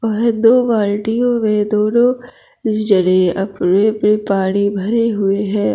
वह दो बाल्टियों में दोनों जने अपने-अपने पानी भरे हुए है।